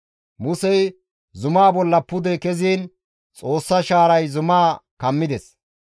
Musey zumaa bolla pude keziin Xoossa shaaray zumaa kammides.